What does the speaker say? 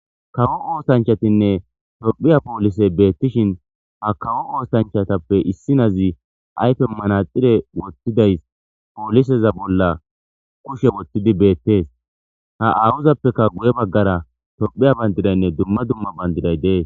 kawo oosanchatinne tophiya poolise beettishin ha kawo oosanchatappe issinazi ayfe manaxire wottidays pooliseza bolla kushe wottidi beettees ha aawuzappeka guye baggara tophiya bandidaynne dumma dumma bandiday dee